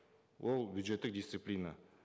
ол бюджеттік дисциплина